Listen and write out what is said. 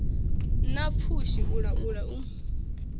na pfushi u laula u